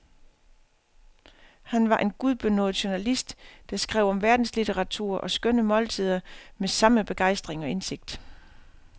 Han var en gudbenådet journalist, der skrev om verdenslitteratur og skønne måltider med samme begejstring og indsigt.